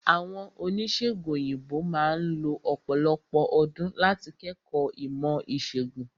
Àwọn Oníṣègùn òyìnbó máà lo ọ̀pọ̀lọpọ̀ ọdún láti kẹ́kọ̀ọ́ ìmọ̀ ìṣègùn.